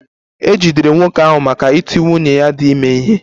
E jidere nwoke ahụ maka iti nwunye ya dị ime ihe